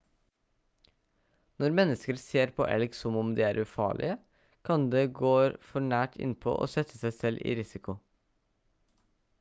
når mennesker ser på elg som om de er ufarlig kan de går for nært innpå og sette seg selv i risiko